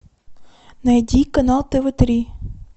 найди канал тв три